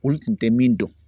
Olu tun tɛ min dɔn